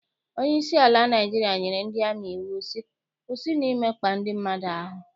Onyeisi ala Naịjirịa nyere ndị amị iwu sị, kwụsịnụ imekpa ndị mmadụ ahụ!